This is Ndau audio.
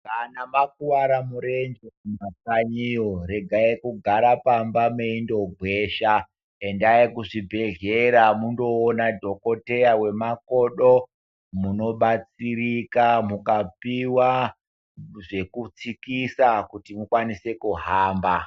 Kana makuvara murenje kumakanyiyo, regai kugara pamba meindogwesha. Endai kuzvibhedhlera mundoona dhokoteya wemakodo. Munobatsirika mukapuwa zvekutsikisa kuti mukwanise kuhamba.